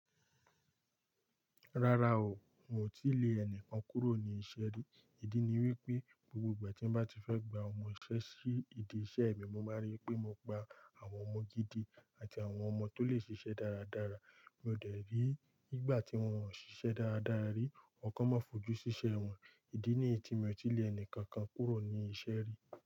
Rárá o, n ò tí lè ẹnìkan kúrò ní isẹ́ rí. Ìdí ni wípé, gbogbo ìgbà tí n bá ti fẹ́ gba ọmọ isẹ́ sí idi iṣẹ́ mi mo máa rí pé mo gba àwọn ọmọ gidi àti àwọn ọmọ tó le ṣiṣẹ́ dáradára. Mi ò dẹ̀rí, ígbà tí wọ́n ò ń ṣiṣẹ́ dáradára rí, ọr kọ máa fojú sí iṣẹ́ wọn. Ìdí ni tí mi ò tí lè ẹnìkankan kúrò ní isẹ́ rí.